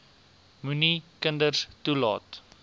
moenie kinders toelaat